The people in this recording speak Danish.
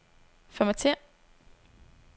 Formatér.